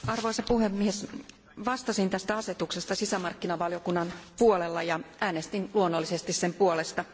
Arvoisa puhemies, vastasin tästä asetuksesta sisämarkkinavaliokunnassa ja äänestin luonnollisesti sen puolesta.